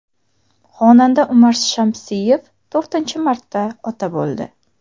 Xonanda Umar Shamsiyev to‘rtinchi marta ota bo‘ldi .